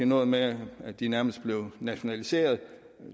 noget med at de nærmest blev nationaliseret